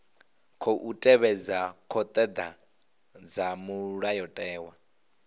khou tevhedza thodea dza mulayotewa